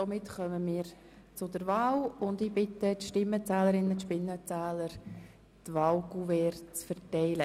Damit kommen wir zur Wahl und ich bitte die Stimmenzähler, die Wahlkuverts zu verteilen.